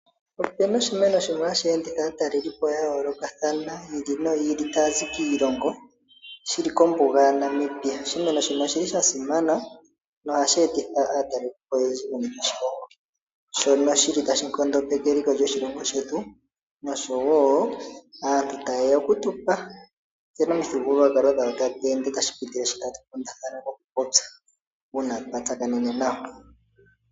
Opuna oshimeno shono hashi enditha aataleli po ya yoolokathana taya zi kiilongo yi ili noyi ili, shili kombuga yaNamibia. Oshimeno shino oshili sha simana nohashi etitha aataleli po oyendji noonkondo shono shili tashi nkondopeke eliko lyoshilongo shetu noshowo aantu taye ya oku tu pa nkene omithigululwakalo dhawo tadhi ende notashi pitile mookukundatha mokupopya uuna twa tsakanene nayo.